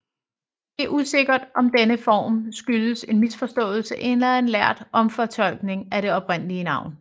Det er usikkert om denne form skyldes en misforståelse eller en lærd omfortolkning af det oprindelige navn